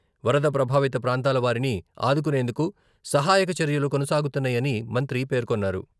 వరద ప్రభావిత ప్రాంతాల వారిని ఆదుకునేందుకు సహాయక చర్యలు కొనసాగుతున్నాయని మంత్రి పేర్కొన్నారు.